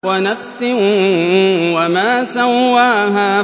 وَنَفْسٍ وَمَا سَوَّاهَا